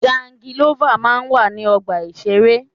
Jangilọ́fà máa ń wà ní ọgbà ìṣeré.